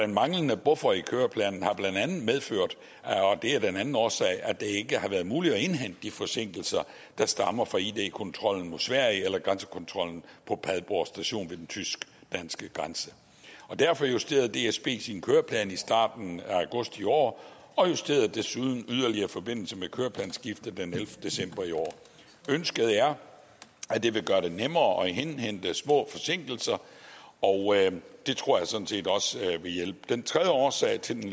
manglende buffer i køreplanen har blandt andet medført og det er den anden årsag at det ikke har været muligt at indhente de forsinkelser der stammer fra id kontrollen på sverige eller grænsekontrollen på padborg station ved den tysk danske grænse derfor justerede dsb sin køreplan i starten af august i år og justerede desuden yderligere i forbindelse med køreplansskiftet den ellevte december i år ønsket er at det vil gøre det nemmere at indhente små forsinkelser og det tror jeg sådan set også vil hjælpe den tredje årsag til den